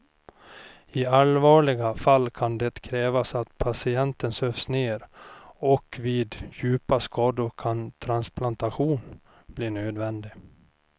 I allvarliga fall kan det krävas att patienten sövs ner och vid djupa skador kan transplantation bli nödvändig.